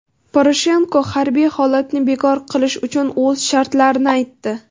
Poroshenko harbiy holatni bekor qilish uchun o‘z shartlarini aytdi.